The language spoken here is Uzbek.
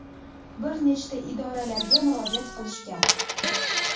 bir nechta idoralarga murojaat qilishgan.